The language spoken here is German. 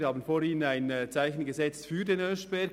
Wir haben vorhin ein Zeichen für den Oeschberg gesetzt.